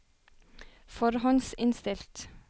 forhåndsinnstilt